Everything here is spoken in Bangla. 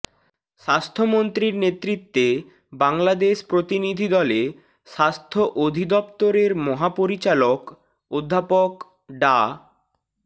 স্বাস্থ্যমন্ত্রীর নেতৃত্বে বাংলাদেশ প্রতিনিধি দলে স্বাস্থ্য অধিদফতরের মহাপরিচালক অধ্যাপক ডা